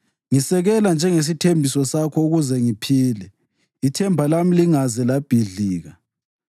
Ngisekela njengesithembiso sakho ukuze ngiphile; ithemba lami lingaze labhidlika.